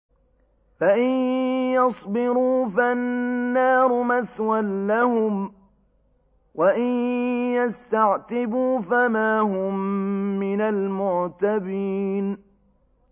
فَإِن يَصْبِرُوا فَالنَّارُ مَثْوًى لَّهُمْ ۖ وَإِن يَسْتَعْتِبُوا فَمَا هُم مِّنَ الْمُعْتَبِينَ